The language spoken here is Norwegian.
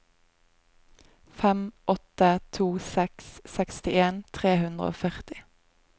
fem åtte to seks sekstien tre hundre og førti